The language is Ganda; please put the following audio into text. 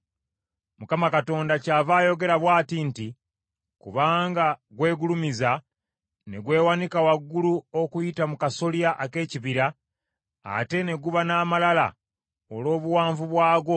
“‘ Mukama Katonda kyava ayogera bw’ati nti; Kubanga gwegulumiza, ne gwewanika waggulu okuyita mu kasolya ak’ekibira, ate ne guba n’amalala olw’obuwanvu bwagwo,